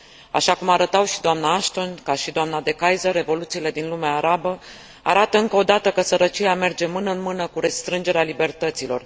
Așa cum arătau și dna Ashton, ca și dna De Keyser, revoluțiile din lumea arabă arată, încă odată, că sărăcia merge mână în mână cu restrângerea libertăților.